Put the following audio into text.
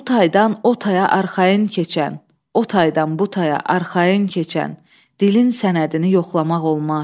Bu taydan o taya arxayın keçən, o taydan bu taya arxayın keçən dilin sənədini yoxlamaq olmaz.